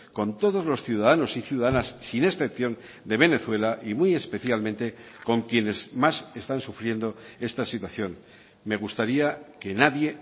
con todos los ciudadanos y ciudadanas sin excepción de venezuela y muy especialmente con quienes más están sufriendo esta situación me gustaría que nadie